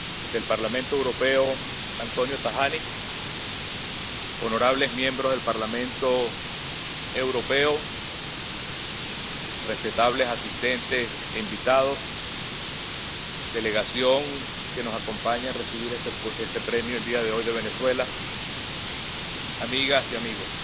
del Parlamento Europeo, Antonio Tajani, honorables miembros del Parlamento Europeo, respetables asistentes e invitados, delegación de Venezuela que nos acompaña a recibir este premio el día de hoy, amigas y amigos.